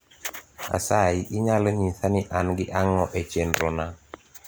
asayi inyalo nyisa ni an gi ang`o e chenro na